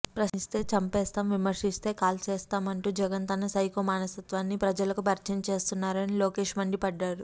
ప్రశ్నిస్తే చంపేస్తాం విమర్శిస్తే కూల్చేస్తామంటూ జగన్ తన సైకో మనస్తత్వాన్ని ప్రజలకు పరిచయం చేస్తున్నారని లోకేష్ మండిపడ్డారు